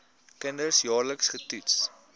kinders jaarliks getoets